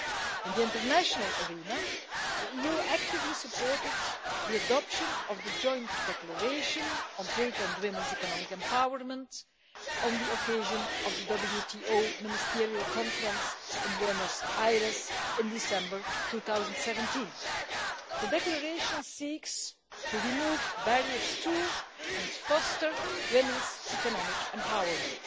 In the international arena, the EU actively supported the adoption of the Joint Declaration on Trade and Women's Economic Empowerment on the occasion of the WTO Ministerial Conference in Buenos Aires in December 2017. The Declaration seeks to remove barriers to and foster women's economic empowerment.